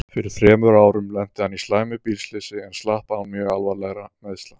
Fyrir þremur árum lenti hann í slæmu bílslysi en slapp án mjög alvarlegra meiðsla.